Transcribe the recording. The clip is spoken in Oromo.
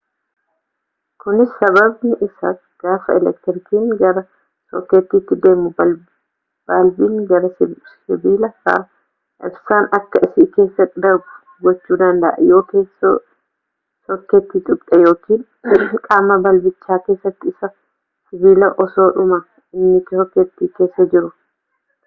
kunis sababni isaa gaafa elektirikiin gara sookeetiiti deemu balbiin gari sibiila isaa ibsaan akka si keessa darbu gochuu danda'u yoo keessoo sookeetii tuqxe yookiin qaama balbicha keessa isaa sibiila osoodhumaa inni sokeetii keessa jiru